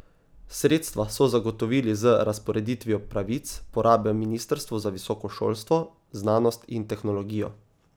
Sredstva so zagotovili z razporeditvijo pravic porabe ministrstvu za visoko šolstvo, znanost in tehnologijo.